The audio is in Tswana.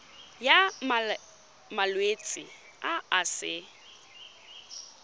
ya malwetse a a sa